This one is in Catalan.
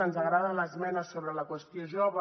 ens agrada l’esmena sobre la qüestió jove